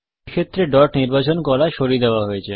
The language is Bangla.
এই ক্ষেত্রে ডট নির্বাচন করা সরিয়ে দেওয়া হয়েছে